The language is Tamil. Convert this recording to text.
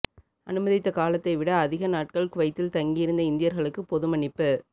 அனுமதித்த காலத்தை விட அதிக நாட்கள் குவைத்தில் தங்கியிருந்த இந்தியர்களுக்கு பொதுமன்னிப்பு